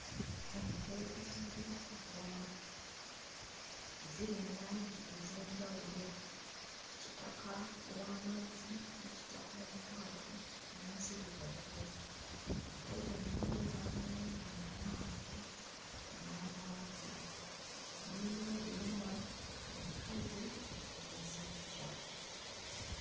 Ente eziwererako ddala ziri mu langi ez'enjawulo kitaka ow'amazzi ne kitaka omukwafu n'enzirugavu ente zino mulimu ez'amayembe amawanvu n'amampi mulimu obuyana, enkazi n'ensajja.